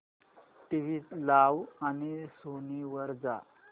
TV लाव आणि Sony वर जा